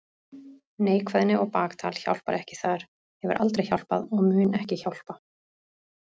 Neikvæðni og baktal hjálpar ekki þar, hefur aldrei hjálpað og mun ekki hjálpa.